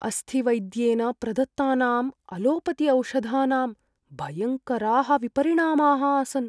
अस्थिवैद्येन प्रदत्तानाम् अलोपतिऔषधानां भयङ्कराः विपरिणामाः आसन्।